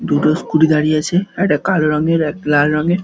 দুটো স্কুটি দাঁড়িয়ে আছে। একটা কালো রংয়ের একটা লাল রঙের।